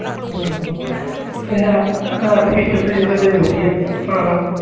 ਹਮ ਹਮ ਤੇ ਹੈ ਹੈ ਤੇ feature ਤੇ ਯਾਰ ਇਹਦੇ ਵਧੀਆ ਹਾਂ ਹਾਂ